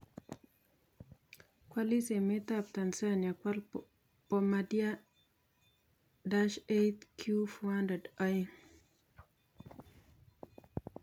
Koaliis emet ab Tanzania kwal Bomabardier Dash 8 Q400 aeng�